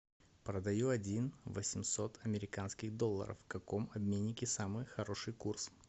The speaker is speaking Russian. продаю один восемьсот американских долларов в каком обменнике самый хороший курс